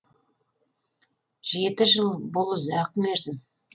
жеті жыл бұл ұзақ мерзім